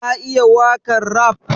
Ka iya wakan raf?